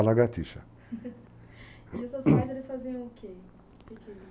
e os seus pais, eles faziam o quê?